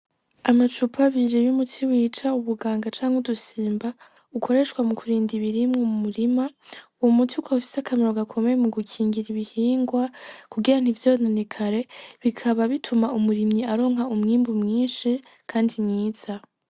Amacupa abiri y'umuti wica ubuganga canke udusimba ukoreshwa mukurinda ibiribwa mu murima, uyo muti ukaba ufise akamaro gakomeye mugukingira ibihingwa kugira ntivyononekare bikaba bituma umurimyi aronka umwimbu mwinshi Kandi mwiza.